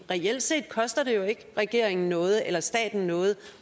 reelt set koster det jo ikke regeringen noget eller staten noget